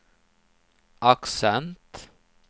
accent